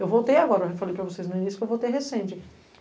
Eu voltei agora, eu falei para vocês no início, porque eu voltei recente.